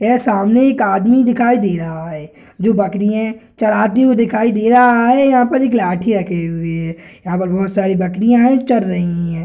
यह सामने एक आदमी दिखाई दे रहा है जो बकरीए चराते हुए दिखाई दे रहा है यहां पर लाठी रखी हुई दिख रही है यहां पर बहुत सारी बकरियां हैं चर रही है।